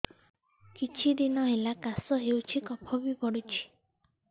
କିଛି ଦିନହେଲା କାଶ ହେଉଛି କଫ ବି ପଡୁଛି